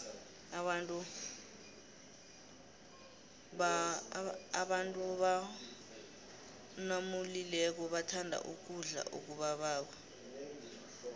abantu gborgnamulileko bathanda ukudlo okubaboko